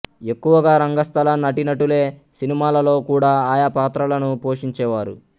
ఎక్కువగా రంగస్థల నటీనటులే సినిమాలలో కూడా ఆయా పాత్రలను పోషించేవారు